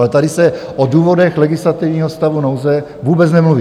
Ale tady se o důvodech legislativního stavu nouze vůbec nemluví.